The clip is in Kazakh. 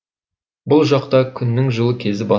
бұл жақта күннің жылы кезі басым